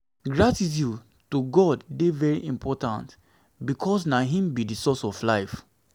gratitude to god de very important because na im be di source of life